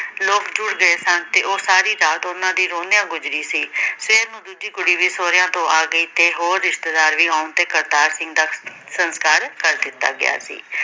ਲੋਕ ਜੁੜ ਗਏ ਸਨ ਤੇ ਉਹ ਸਾਰੀ ਰਾਤ ਉਹਨਾਂ ਦੀ ਰੋਂਦਿਆਂ ਗੁਜ਼ਰੀ ਸੀ । ਸਵੇਰ ਨੂੰ ਦੂਜੀ ਕੁੜੀ ਵੀ ਸਹੁਰਿਆਂ ਤੋਂ ਗਈ ਤੇ ਹੋਰ ਰਿਸ਼ਤੇਦਾਰ ਵੀ ਆਉਣ ਤੇ ਕਰਤਾਰ ਸਿੰਘ ਦਾ ਸੰਸਕਾਰ ਕਰ ਦਿੱਤਾ ਗਿਆ ਸੀ ।